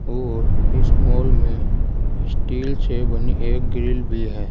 और इस मॉल में स्टील से बनी एक ग्रिल भी है।